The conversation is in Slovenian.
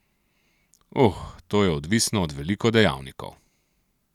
Uh, to je odvisno od veliko dejavnikov.